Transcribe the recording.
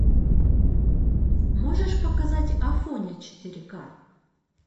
можешь показать афоня четыре ка